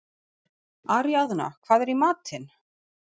Aríaðna, hvað er í matinn?